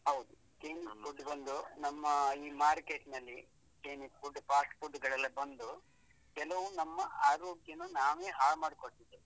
ಹೌದು chinese food ಬಂದು ನಮ್ಮ ಈ market ನಲ್ಲಿ chinese food fast food ಳೆಲ್ಲಾ ಬಂದು ಕೆಲವು ನಮ್ಮ ಆರೋಗ್ಯನಾ ನಾವೇ ಹಾಳು ಮಾಡ್ಕೊಳ್ತಿದ್ದೀವಿ.